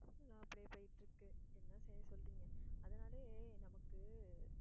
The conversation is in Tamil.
எல்லாம் அப்பிடியே போயிட்டு இருக்கு என்ன செய்ய சொல்றீங்க அதனாலயே நமக்கு